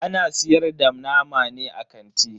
Ana siyar da nama ne a kanti?